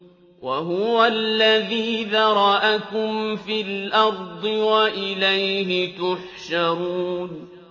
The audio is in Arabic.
وَهُوَ الَّذِي ذَرَأَكُمْ فِي الْأَرْضِ وَإِلَيْهِ تُحْشَرُونَ